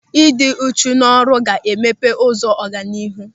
Ị dị uchu n'ọrụ ga-emepe ụzọ ọganihu.